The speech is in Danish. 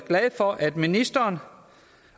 glad for at ministeren